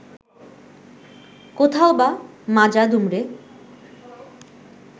কোথাওবা মাজা দুমড়ে